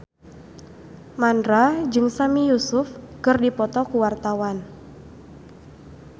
Mandra jeung Sami Yusuf keur dipoto ku wartawan